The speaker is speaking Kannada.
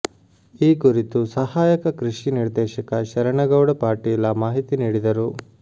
ಈ ಕುರಿತು ಸಹಾಯಕ ಕೃಷಿ ನಿರ್ದೇಶಕ ಶರಣಗೌಡ ಪಾಟೀಲ ಮಾಹಿತಿ ನೀಡಿದರು